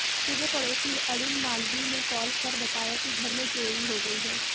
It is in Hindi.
सुबह पड़ोसी अरुण मालवीय ने कॉल कर बताया कि घर में चोरी हो गई है